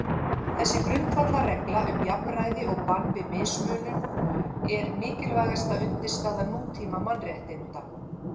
Þessi grundvallarregla um jafnræði og bann við mismunun er mikilvægasta undirstaða nútíma mannréttinda.